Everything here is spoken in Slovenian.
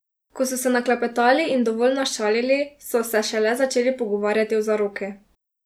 Ko so se naklepetali in dovolj našalili, so se šele začeli pogovarjati o zaroki.